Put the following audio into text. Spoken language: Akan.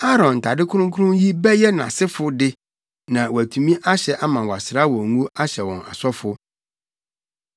“Aaron ntade kronkron yi bɛyɛ nʼasefo de na wɔatumi ahyɛ ama wɔasra wɔn ngo ahyɛ wɔn asɔfo.